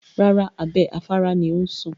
Rárá, abẹ́ afárá ni ó ń sùn.